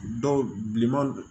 Dɔw bilenman don